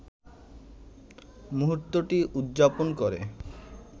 মুহূর্তটি উদযাপন করে